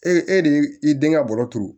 Ee e de ye i den ŋa bɔrɔ turu